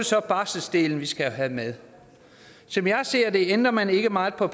så barselsdelen vi skal have med som jeg ser det ændrer man ikke meget på